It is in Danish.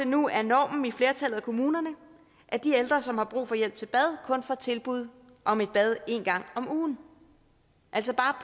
nu er normen i flertallet af kommunerne at de ældre som har brug for hjælp til bad kun får tilbud om et bad en gang om ugen altså der